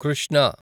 Krishna